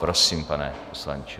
Prosím, pane poslanče.